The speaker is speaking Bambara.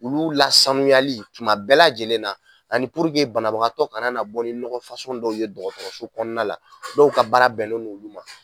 Olu la sanuyali tuma bɛɛ lajɛlen na ani puruke banabagatɔ kana na bɔ ni ɲɔgɔn dɔw ye dɔgɔtɔrɔso kɔnɔna la. Dɔw ka baara bɛnnen n'olu ma.